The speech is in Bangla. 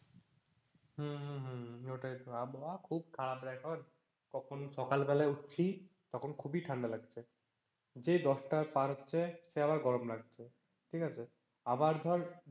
হম হম হম ওটাই তো। আবহাওয়া খুব খারাপ রে এখন। কখন সকালবেলায় উঠছি তখন খুবই ঠান্ডা লাগছে যেই দশটা পার হচ্ছে সেই আবার গরম লাগছে, ঠিক আছে। আবার ধর,